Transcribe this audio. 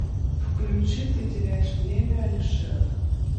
включи ты теряешь время алишер